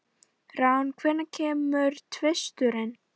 Rán, hvenær kemur tvisturinn?